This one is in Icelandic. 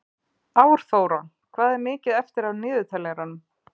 Árþóra, hvað er mikið eftir af niðurteljaranum?